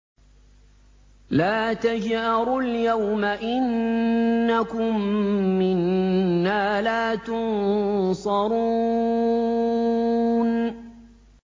لَا تَجْأَرُوا الْيَوْمَ ۖ إِنَّكُم مِّنَّا لَا تُنصَرُونَ